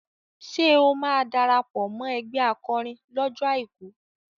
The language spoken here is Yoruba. Ṣé o máa darapọ̀ mọ́ ẹgbẹ́ akọrin lọ́jọ́ Àìkú?